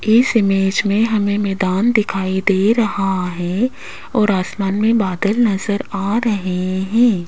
इस इमेज में हमें मैदान दिखाई दे रहा है और आसमान में बादल नजर आ रहे हैं।